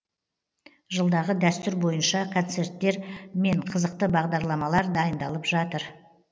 жылдағы дәстүр бойынша концерттер мен қызықты бағдарламалар дайындалып жатыр